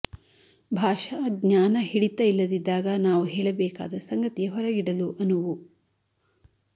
ಭಾಷಾ ಜ್ಞಾನ ಹಿಡಿತ ಇಲ್ಲದಿದ್ದಾಗ ನಾವು ಹೇಳಬೇಕಾದ ಸಂಗತಿ ಹೊರಗಿಡಲು ಆಗದು